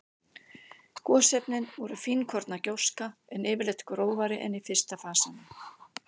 Gosefnin voru fínkorna gjóska, en yfirleitt grófari en í fyrsta fasanum.